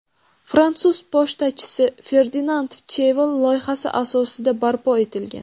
Fransuz pochtachisi – Ferdinand Cheval loyihasi asosidi barpo etilgan.